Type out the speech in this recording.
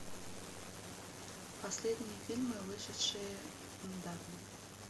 последние фильмы вышедшие недавно